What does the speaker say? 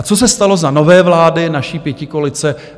A co se stalo za nové vlády naší pětikoalice?